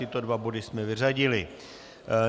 Tyto dva body jsme vyřadili.